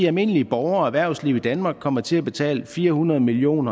almindelige borgere og erhvervsliv i danmark kommer til at betale fire hundrede million